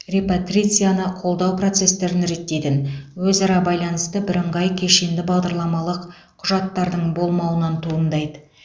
репатрицияны қолдау процестерін реттейтін өзара байланысты бірыңғай кешенді бағдарламалық құжаттардың болмауынан туындайды